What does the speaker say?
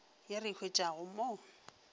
ye re e hwetšago mo